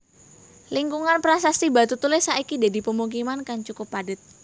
Lingkungan Prasasti Batutulis saiki dadi pemukiman kang cukup padhet